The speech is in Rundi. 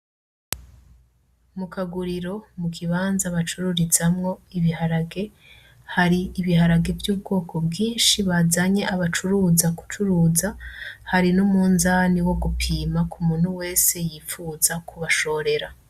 Mu kaguriro, ikibanza bacururizamwo ibiharage, hari ibiharage vy'ubwoko bwinshi bazanye abacuruza gucuruza, hari n'umunzane wo gupima kuri uwo wese yipfuza kubashorera